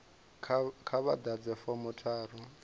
kha vha ḓadze fomo tharu